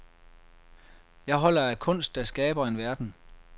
Jeg holder af kunst, der skaber en verden.